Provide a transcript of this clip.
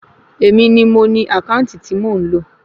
Èmi ni mo ni àkáǹtì tí mò ń lò